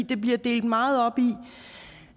det bliver delt meget op i